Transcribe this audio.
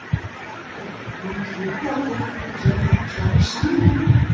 Kristján: En truflar þetta gerð kjarasamninganna?